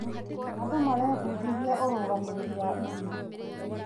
Andũ marebundithia ũrũgamĩrĩri wa ihinda.